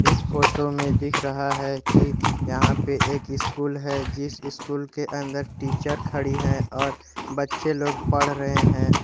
इस फोटो में दिख रहा है कि यहां पे एक स्कूल है जिस स्कूल के अंदर टीचर खड़ी है और बच्चे लोग पढ़ रहे हैं।